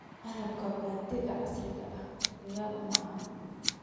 Qalabka beeritaanka casriga ah diyaar uma aha.